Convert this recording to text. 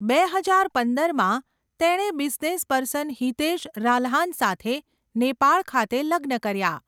બે હજાર પંદરમાં તેણે બિઝનેસપર્સન હિતેશ રાલ્હન સાથે નેપાળ ખાતે લગ્ન કર્યાં.